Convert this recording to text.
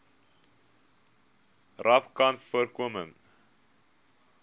rapcanvoorkoming